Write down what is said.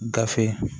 Gafe